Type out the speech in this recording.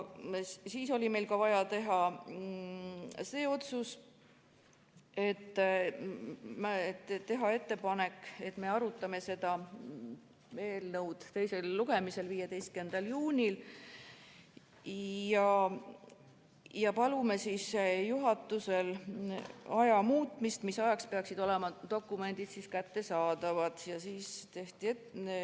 Siis oli meil vaja otsustada teha ettepanek arutada seda eelnõu teisel lugemisel 15. juunil ja paluda juhatuselt dokumentide kättesaadavuse aja muutmist.